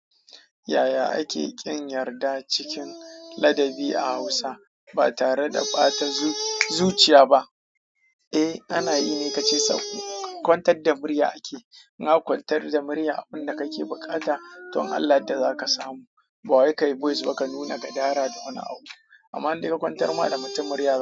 Yaya ake ƙin yarda cikin ladabi a Hausa ba tare da ɓata zuciya ba? Eh, ana yi ne kace sakwi. Kwantar da murya ake. In aka kwantar da murya abin da kake buƙata to in Allah ya yarda za ka samu. Bawai kayi voice ba ka nuna gadara da wani abu amma indai ka kwantar ma da mutum murya.